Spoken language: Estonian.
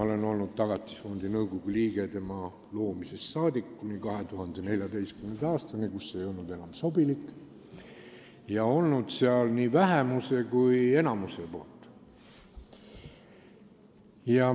Tõesti, ma olin Tagatisfondi nõukogu liige selle loomisest saadik kuni 2014. aastani, kui see ei olnud enam sobilik, ja olen olnud seal nii vähemuse kui ka enamuse esindajana.